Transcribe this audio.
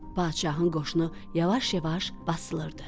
Padşahın qoşunu yavaş-yavaş basılırdı.